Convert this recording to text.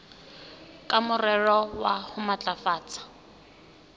ka morero wa ho matlafatsa